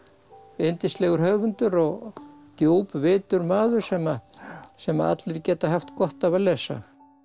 yndislegur höfundur og djúpvitur maður sem sem allir geta haft gott af að lesa